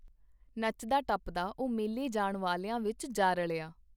ਨੱਚਦਾ ਟੱਪਦਾ ਉਹ ਮੇਲੇ ਜਾਣ ਵਾਲਿਆਂ ਵਿੱਚ ਜਾ ਰਲਿਆ.